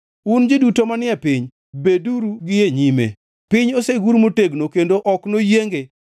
Un ji duto manie piny, beduru gi e nyime! Piny osegur motegno kendo ok noyienge.